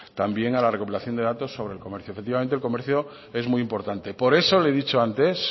también a la recopilación de datos sobre el comercio efectivamente el comercio es muy importante por eso le he dicho antes